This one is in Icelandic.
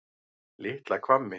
Litla Hvammi